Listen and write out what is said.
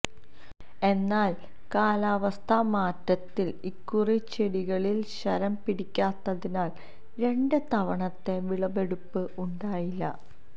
എന്നാൽ കാലാവസ്ഥാ മാറ്റത്തിൽ ഇക്കുറി ചെടികളിൽ ശരം പിടിക്കാത്തതിനാൽ രണ്ട് തവണത്തെ വിളവെടുപ്പ് ഉണ്ടായില്ല